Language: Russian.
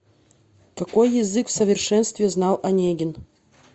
какой язык в совершенстве знал онегин